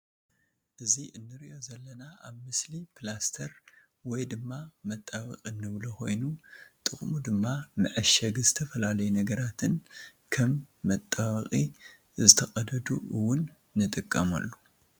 እዚ ንሪኦ ዘለና ኣብ ምስሊ ፕላስትር ወይ ድማ ምጣበቂ ንብሎ ኮይኑ ጥቅሙ ድማ መዐሸጊ ዝትፈላለዩ ነግራትን ክም መጣበቂ ዝተቀደዱ እዉን ንጥቀመሉ ።